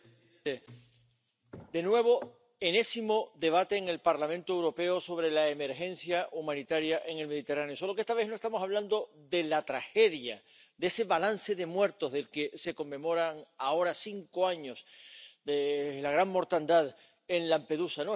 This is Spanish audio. Señor presidente, de nuevo enésimo debate en el Parlamento Europeo sobre la emergencia humanitaria en el Mediterráneo, solo que esta vez no estamos hablando de la tragedia, de ese balance de muertos del que se conmemoran ahora cinco años, de la gran mortandad en Lampedusa.